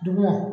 Dugumɔ